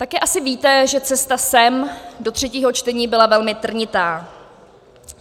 Taky asi víte, že cesta sem do třetího čtení byla velmi trnitá.